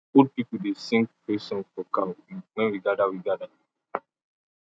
old people dey sing praise song for cow when we gather we gather